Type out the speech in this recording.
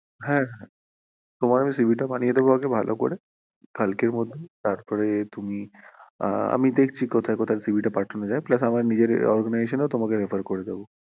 হ্যাঁ তোমার আমি CV টা বানিয়ে দেব আগে ভালো করে কালকের মধ্যে তারপর তুমি, আমি দেখছি কোথায় কোথায় CV টা পাঠানো যায় plus আমার নিজের organisation এও refer করে দেব